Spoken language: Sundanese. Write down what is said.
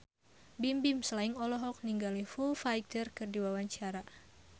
Bimbim Slank olohok ningali Foo Fighter keur diwawancara